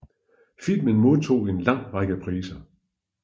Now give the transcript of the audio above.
Filmen modtog en lang række priser